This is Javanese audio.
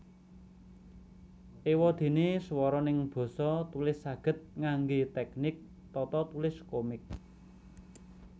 Ewadene swara neng basa tulis saged ngangge teknik tatatulis komik